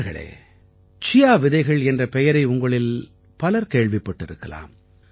நண்பர்களே சியா விதைகள் என்ற பெயரை உங்களில் பலர் கேள்விப்பட்டிருக்கலாம்